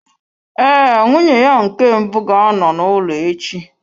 Ee, nwunye ya nke mbụ ga-anọ n'ụlọ echi.